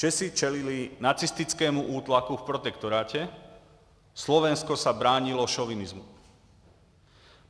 Češi čelili nacistickému útlaku v protektorátě, Slovensko se bránilo šovinismu.